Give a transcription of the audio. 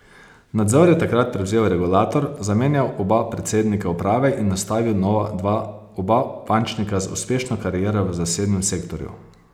Nadzor je takrat prevzel regulator, zamenjal oba predsednika uprave in nastavil nova dva, oba bančnika z uspešno kariero v zasebnem sektorju.